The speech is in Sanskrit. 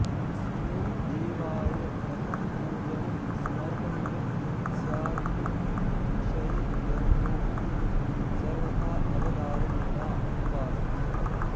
कस्मै देवाय कथं पूजनं समर्पणीयं स्यादिति विषये यमोक्तिः सर्वथाऽवधारणीया एवास्ति